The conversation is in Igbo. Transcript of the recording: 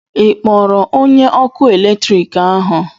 Ị kpọrọ onye ọkụ eletrik ahu?